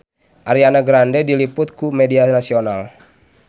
Ariana Grande diliput ku media nasional